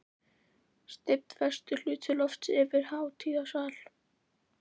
Steypt vestur hluti lofts yfir hátíðasal.